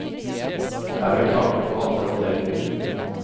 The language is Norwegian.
Her er kaker for alle anledninger.